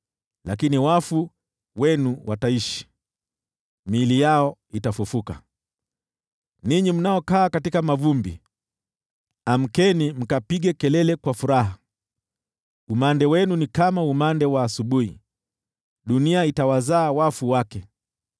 Lakini wafu wenu wataishi, nayo miili yao itafufuka. Ninyi mnaokaa katika mavumbi, amkeni mkapige kelele kwa furaha. Umande wenu ni kama umande wa asubuhi, dunia itawazaa wafu wake.